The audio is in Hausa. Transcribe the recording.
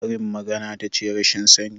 Karin magana tace rashin sani?